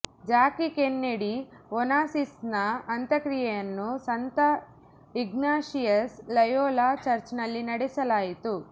Jackie Kennedy ಒನಾಸಿಸ್ನ ಅಂತ್ಯಕ್ರಿಯೆಯನ್ನು ಸಂತ ಇಗ್ನಾಷಿಯಸ್ ಲಯೋಲಾ ಚರ್ಚ್ನಲ್ಲಿ ನಡೆಸಲಾಯಿತು